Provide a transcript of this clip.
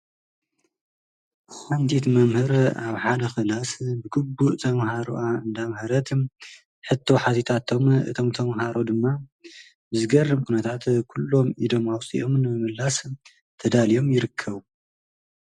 ሓንቲት መምህር ኣብ ሓደ ክላስ ብግቡእ ተምሃሮኣ እንዳምሃረትን ሕቶ ሓቲታቶም እቶም ተምሃሮ ድማ ብዝገርም ኩነታት ኩሎም ኢዶም ኣውፂኦም ንምምላስ ተዳልዮም ይርከቡ፡፡